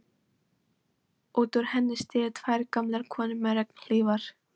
Út úr henni stigu tvær gamlar konur með regnhlífar.